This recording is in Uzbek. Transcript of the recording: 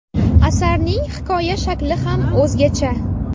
Asarning hikoya shakli ham o‘zgacha.